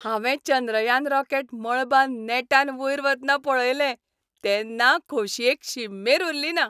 हांवें चंद्रयान रॉकेट मळबांत नेटान वयर वतना पळयलें, तेन्ना खोशयेक शीममेर उरलीना.